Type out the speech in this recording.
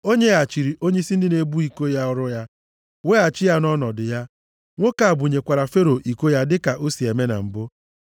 O nyeghachiri onyeisi ndị na-ebu iko ya ọrụ ya, weghachi ya nʼọnọdụ ya. Nwoke a bunyekwara Fero iko ya dịka o si eme na mbụ.